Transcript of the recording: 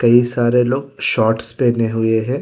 ये सारे लोग शॉर्ट्स पहने हुए हैं।